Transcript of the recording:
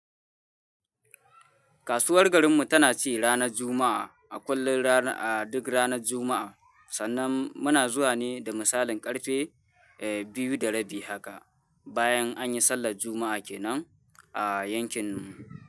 Kasuwar garinmu tana ci ranar Juma'a, a kullum, a duk ranar Juma'a. Sannan muna zuwa ne da misalin ƙarfe, biyu da rabi haka, bayan an yi sallar Juma'a kenan a yankinmu.